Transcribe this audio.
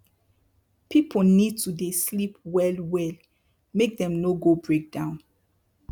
pipu need to dey sleep well well make dem no go break down